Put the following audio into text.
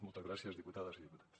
moltes gràcies diputades i diputats